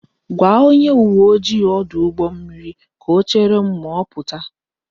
Gwa onye uwe ojii ọdụ ụgbọ mmiri ka o chere m ma ọ pụta